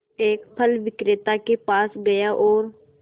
एक फल विक्रेता के पास गया और